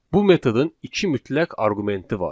Bu metodun iki mütləq arqumenti var.